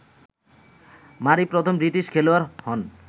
মারি প্রথম ব্রিটিশ খেলোয়াড় হন